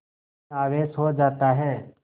ॠण आवेश हो जाता है